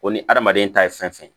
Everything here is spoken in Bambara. Ko ni adamaden ta ye fɛn fɛn ye